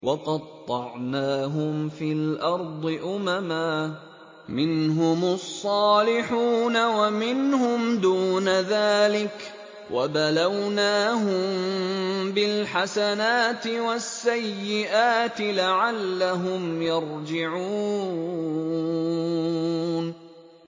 وَقَطَّعْنَاهُمْ فِي الْأَرْضِ أُمَمًا ۖ مِّنْهُمُ الصَّالِحُونَ وَمِنْهُمْ دُونَ ذَٰلِكَ ۖ وَبَلَوْنَاهُم بِالْحَسَنَاتِ وَالسَّيِّئَاتِ لَعَلَّهُمْ يَرْجِعُونَ